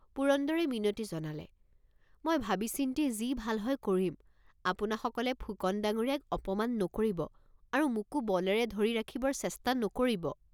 পুৰন্দৰে মিনতি জনালে মই ভাবিচিন্তি যি ভাল হয় কৰিম আপোনাসকলে ফুকন ডাঙৰীয়াক অপমান নকৰিব আৰু মোকো বলেৰে ধৰি ৰাখিবৰ চেষ্টা নকৰিব।